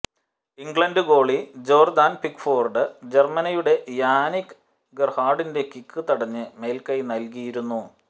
England goalie Jordan Pickford ജര്മനിയുടെ Yannick ഗെര്ഹാഡിന്റെ kick തടഞ്ഞ് മേല്ക്കൈ നല്കിയിരുന്നു